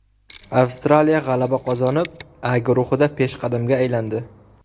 Avstraliya g‘alaba qozonib, A guruhida peshqadamga aylandi.